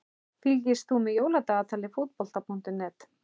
Fylgist þú með Jóladagatali Fótbolta.net?